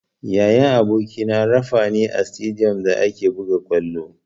Yayan abokina rafa ne a sitadiyom da ake buga ƙwallo.